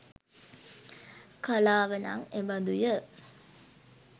කලාව නම් එබඳුය